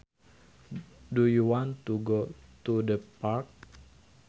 Do you want to go to the park